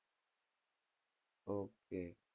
okay